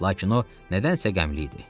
Lakin o nədənsə qəmli idi.